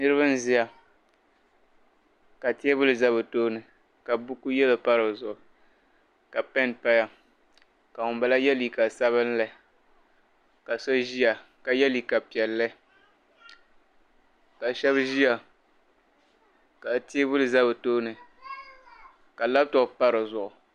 Niriba n ʒiya ka teebuli za bi tooni ka buku yellow pa di zuɣu ka pen paya ka ŋun bala ye liiga sabinli ka so Ʒiya ka ye liiga piɛlli ka shab ʒiya ka teebuli za bi tooni ka "laptop" pa di zuɣu.